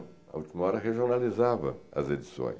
A Última Hora regionalizava as edições.